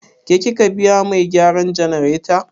Ke kika biya mai gyaran jannareta?